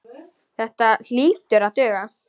Þetta hlýtur að duga.